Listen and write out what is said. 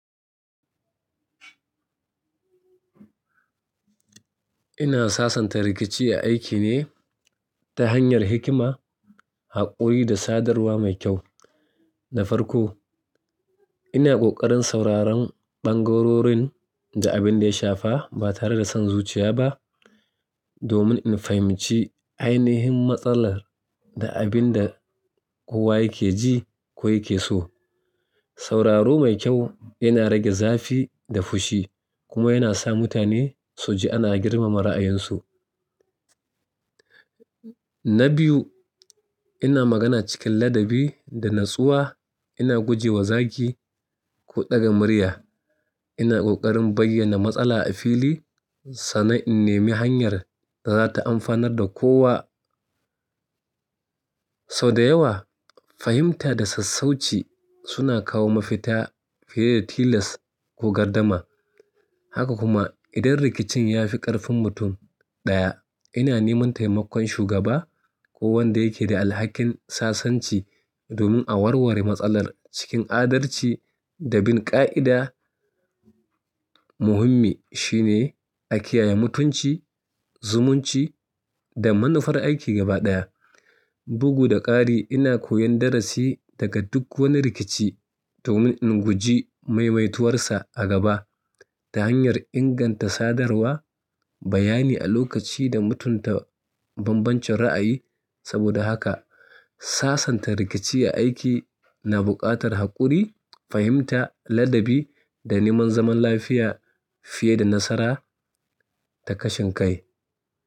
Ina sasanta rikici a aiki ne ta hanyar hikima, haƙuri da sadarwa mai kyau. Na farko, ina ƙoƙarin sauraron ɓangarorin da abin da ya shafa ba tare da son zuciya ba domin in fahimci ainihin matsalar da abin da kowa yake ji ko yake so. Sauraro mai kyau yana rage zafi da fushi kuma yana sa mutane su ji ana girmama ra'ayinsu. Na biyu, ina magana cikin ladabi da natsuwa, ina guje wa zagi ko ɗaga murya. Ina ƙoƙarin bayyana matsala a fili sannan in nemi hanyar da za ta amfanar da kowa. Sau da yawa, fahimta da sassauci suna kawo mafita fiye da tilas ko gardama. Haka kuma, idan rikicin ya fi ƙarfin mutum ɗaya, ina neman taimakon shugaba ko wanda yake da alhakin sasanci domin a warware matsalar cikin adalci da bin ƙa'ida Muhimmi shine a kiyaye mutunci, zumunci da manufar aiki gaba ɗaya. Bugu da ƙari, ina koyon darasi daga duk wani rikici domin in guji maimaituwar sa a gaba ta hanyar inganta sadarwa, bayani a lokaci da mutunta bambancin ra'ayi. Saboda haka, sasanta rikici a aiki na buƙatar haƙuri, fahimta, ladabi da neman zaman lafiya fiye da nasara ta kashin kai.